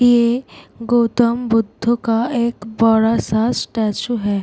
ये गौतम बुद्ध का एक बड़ा सा स्टेचू है ।